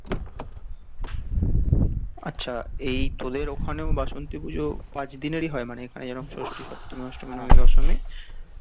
আচ্ছা তোদের ওখানেও বাসন্তী পুজো পাঁচ দিনেরই হয় মানে এখানে যেরম ষষ্ঠী সপ্তমী অষ্টমী নবমী দশমী